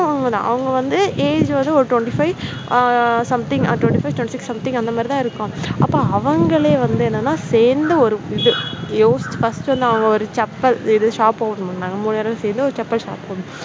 அவங்க வந்து age வந்து ஒரு twenty five something twenty five twenty six something அந்த மாதிரி தான் இருக்கும். அப்போ அவங்களே வந்து என்னன்னா சேர்ந்து ஒரு இது யோசிச்சு first வந்து ஒரு chappal shop open பண்ணாங்க மூணு பேரும் சேர்ந்து chappal shop open